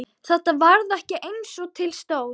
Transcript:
Þetta varð ekki eins og til stóð.